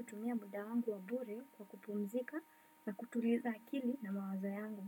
Utumia muda wangu wabure kwa kupumzika na kutuliza akili na mawazo yangu.